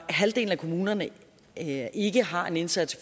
halvdelen af kommunerne ikke har en indsats